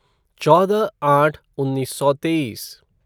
चौदह आठ उन्नीस सौ तेईस